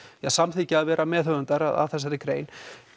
samþykkja að vera meðhöfundar að þessari grein